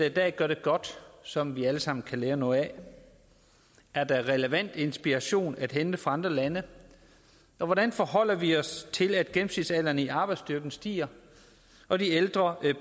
i dag gør det godt som vi alle sammen kan lære noget af er der relevant inspiration at hente fra andre lande og hvordan forholder vi os til at gennemsnitsalderen i arbejdsstyrken stiger og de ældre